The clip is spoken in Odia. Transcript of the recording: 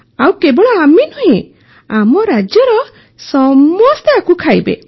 ଆଉ କେବଳ ଆମେ ନୁହେଁ ଆମ ରାଜ୍ୟର ସମସ୍ତେ ଏହା ଖାଇବେ